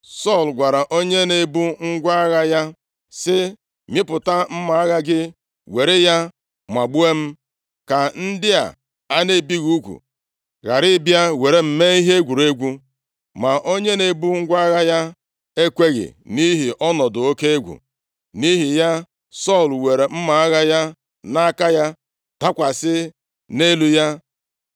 Sọl gwara onye na-ebu ngwa agha ya, sị, “Mịpụta mma agha gị, were ya magbuo m ka ndị a a na-ebighị ugwu ghara ịbịa jiri m mee ihe egwuregwu.” Ma onye na-ebu ngwa agha ya ekweghị, nʼihi ọnọdụ oke egwu. Nʼihi ya, Sọl were mma agha nke ya, dakwasị nʼelu ya.